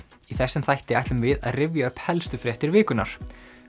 þessum þætti ætlum við að rifja upp helstu fréttir vikunnar